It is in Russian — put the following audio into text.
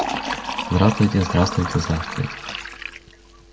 здравствуйте здравствуйте здравствуйте